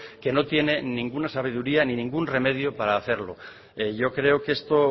que no tiene ninguna sabiduría ni ningún remedio para hacerlo yo creo que esto